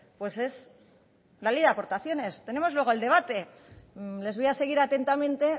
pues es la ley de aportaciones tenemos luego el debate les voy a seguir atentamente